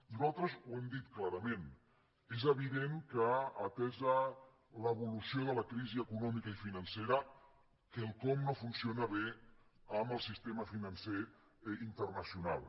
nosaltres ho hem dit clarament és evident que atesa l’evolució de la crisi econòmica i financera quelcom no funciona bé amb el sistema financer internacional